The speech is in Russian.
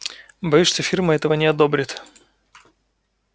боюсь что фирма этого не одобрит